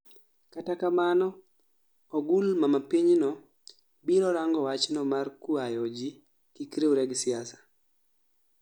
Kata kamano ogul mama pinyno biro rango wachno mar kuayo ji kik riwre gi siasa